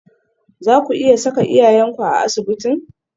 Zaku iya saka iyayenku a asibitin?